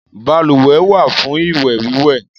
Baluwẹ̀ wà fún ìwẹ̀-wíwẹ̀.